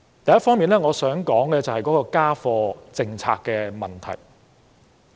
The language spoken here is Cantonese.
首先，我想說的是家課政策的問題。